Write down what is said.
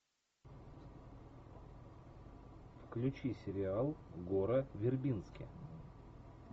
включи сериал гора вербински